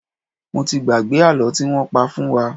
Mo ti gbàgbé àlọ́ tí wọ́n pa fún wa.